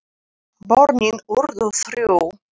Börnin urðu þrjú.